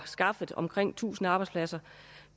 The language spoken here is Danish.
skaffet omkring tusind arbejdspladser